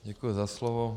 Děkuju za slovo.